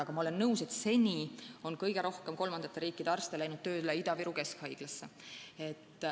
Aga ma olen nõus, et seni on kõige rohkem kolmandate riikide arste läinud tööle Ida-Viru Keskhaiglasse.